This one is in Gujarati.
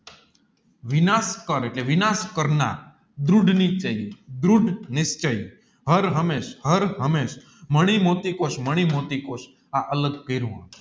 વિનાશ કાળ એટલે વિનાશ કરનાર દૃડ નિશ્ચય દૃડ નિશ્ચય હર હમેશ હર હમેશ મણિ મોટી કોશ મણિ મોટી કોષ આ અલગ